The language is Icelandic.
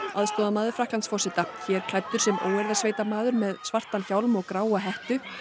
aðstoðarmaður Frakklandsforseta hér klæddur sem óeirðasveitarmaður með svartan hjálm og gráa hettu